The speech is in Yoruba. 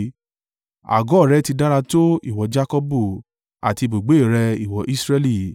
“Àgọ́ rẹ ti dára tó, ìwọ Jakọbu, àti ibùgbé rẹ, ìwọ Israẹli!